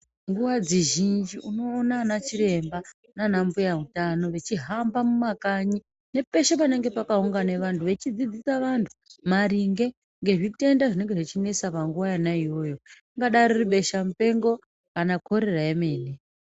Nguva dzizhinji unoona ana chiremba naana mbuya utano vechihamba mumakanyi, nepeshe panenge pakaungane vantu, vechidzidzisa vantu maringe ngezvitenda zvingadai zvechinesa panguva iyoyo. Ringadai riri besha-mupengo kana korera yemene.